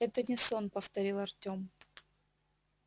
это не сон повторил артём